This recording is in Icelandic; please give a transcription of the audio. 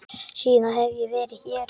Síðan hef ég verið hér.